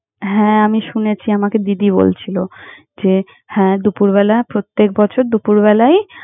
হ্যাঁ, আমি শুনেছি। আমাকে দিদি বলছিলো যে, হ্যাঁ দুপুরবেলা প্রত্যেক বছর দুপুরবেলায়।